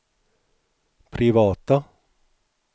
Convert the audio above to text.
privata